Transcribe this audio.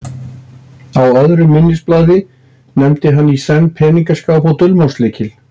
Á öðru minnisblaði nefndi hann í senn peningaskáp og dulmálslykla.